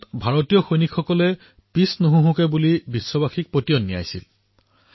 ভাৰতীয় সৈন্যই বিশ্বক দেখুৱালে যে যুদ্ধৰ সময়ত আমাৰ সৈন্যই পিছ নোহঁহকে